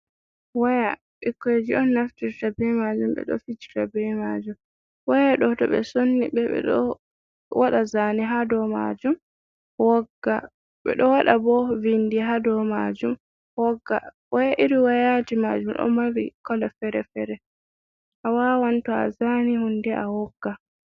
Waya: Ɓikkonji on naftirta be majum ɓeɗo fijira be majum. Waya ɗo to ɓe sonni ɓe, ɓeɗo waɗa zane ha dou majum wogga. Ɓeɗo waɗa bo bindi ha dou majum wogga. irin wayaji majum ɗo mari kala fere-fere awawan to a zani hunde wogga.